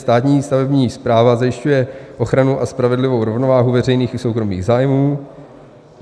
Státní stavební správa zajišťuje ochranu a spravedlivou rovnováhu veřejných i soukromých zájmů.